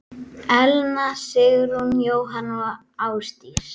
Elna Sigrún, Jóhanna og Ásdís.